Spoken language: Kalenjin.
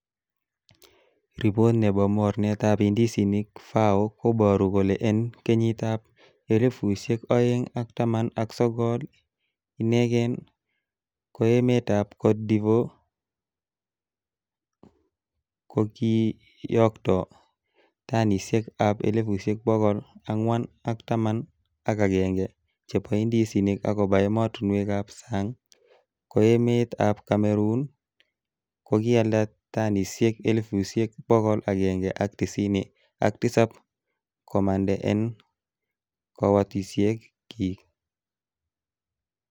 Ripot nebo mornetab indisinik FAO, koboru kole en kenyitab elfusiek oeng ak taman ak sogol ineken, ko emetab Cote d' Ivore ko kiyokto tanisiek ab elfusiek bogol angwan ak taman ak agenge, chebo indisinik koba emotinwek ab sang, ko emetab Cameroon ko kialda tanisiek elfusiek bogol agenge ak tisini ak tisap komande en kowotosiekyik.